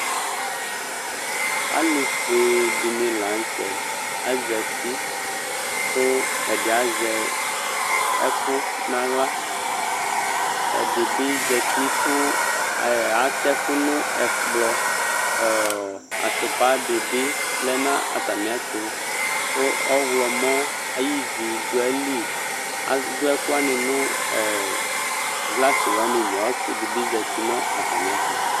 alufɛdini lanutɛ azati ku ɛdiaza ɛkunu aglɛ adibi azati ku atɛkunu ɛkplɔ atɔpadibi lʊnu ataniɛtu ku ɔylum aɩvidu aili adu ɛkuyani nɛglasi yanili ku ɔsɩyani zatinu ataniɛtɔ